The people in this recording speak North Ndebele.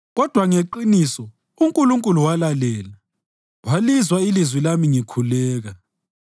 kodwa ngeqiniso uNkulunkulu walalela walizwa ilizwi lami ngikhuleka.